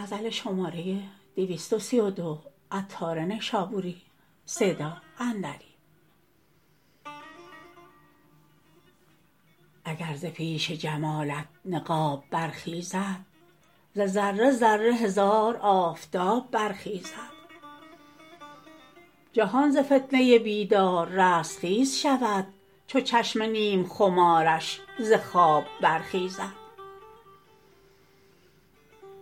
اگر ز پیش جمالت نقاب برخیزد ز ذره ذره هزار آفتاب برخیزد جهان ز فتنه بیدار رستخیز شود چو چشم نیم خمارش ز خواب برخیزد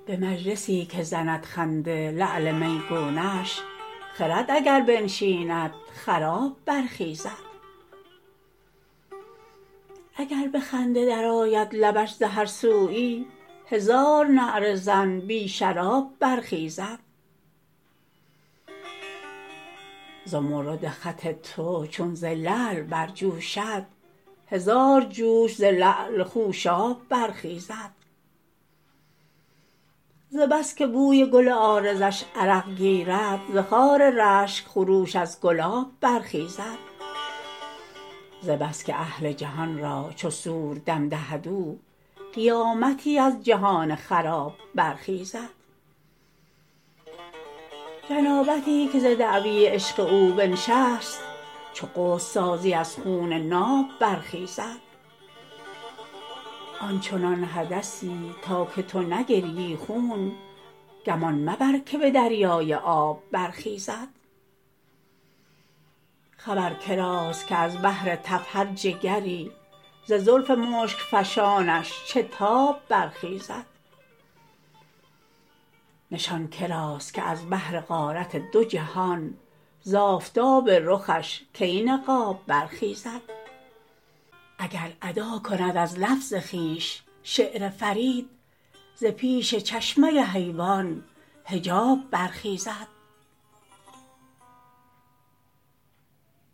به مجلسی که زند خنده لعل میگونش خرد اگر بنشیند خراب برخیزد اگر به خنده در آید لبش ز هر سویی هزار نعره زن بی شراب برخیزد زمرد خط تو چون ز لعل برجوشد هزار جوش ز لعل خوشاب برخیزد ز بس که بوی گل عارضش عرق گیرد ز خار رشک خروش از گلاب برخیزد ز بس که اهل جهان را چو صور دم دهد او قیامتی ز جهان خراب برخیزد جنابتی که ز دعوی عشق او بنشست چو غسل سازی از خون ناب برخیزد که آن چنان حدثی تا که تو نگریی خون گمان مبر که به دریای آب برخیزد خبر کراست که از بهر تف هر جگری ز زلف مشک فشانش چه تاب برخیزد نشان کراست که از بهر غارت دو جهان ز آفتاب رخش کی نقاب برخیزد اگر ادا کند از لفظ خویش شعر فرید ز پیش چشمه حیوان حجاب برخیزد